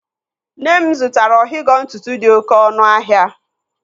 Nne m zụtara ọhigọ ntụtụ dị oké ọnụ ahịa.